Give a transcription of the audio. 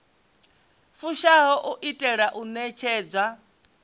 fushaho u itela u ṋetshedza